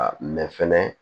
mɛ fɛnɛ